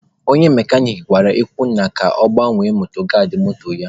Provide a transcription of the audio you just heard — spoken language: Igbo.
Onye mekanik gwara Izunna ka ọ gbanwee mọdgaadị moto ya.